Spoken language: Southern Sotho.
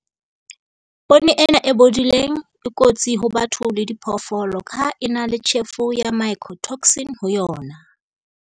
Poone ena e bodileng e kotsi ho batho le diphoofolo ka ha e na le tjhefo ya mycotoxin ho yona.